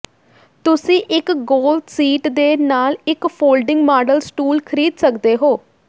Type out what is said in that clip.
ਤੁਸੀਂ ਇੱਕ ਗੋਲ ਸੀਟ ਦੇ ਨਾਲ ਇੱਕ ਫੋਲਡਿੰਗ ਮਾਡਲ ਸਟੂਲ ਖਰੀਦ ਸਕਦੇ ਹੋ